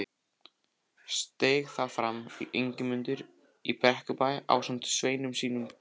Steig þá fram Ingimundur í Brekkubæ ásamt sveinum sínum kerskum.